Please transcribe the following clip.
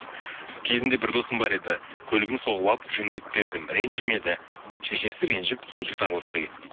кезінде бір досым бар еді көлігін соғып алып жөндеп бердім ренжімеді шешесі ренжіп сол жігіт араласпай кетті дейді